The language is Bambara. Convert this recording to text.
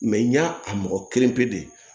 n y'a a mɔgɔ kelen pe de